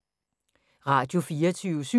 Radio24syv